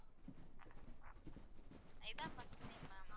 இதுதான் first time ma'am.